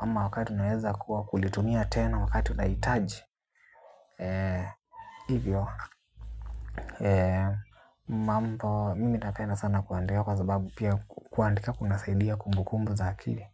ama wakati unaweza kuwa kulitumia tena wakati unaitaji ee hivyo. Mambo, mimi napenda sana kuandika kwa sababu pia kuandika kunasaidia kumbu kumbu za akili.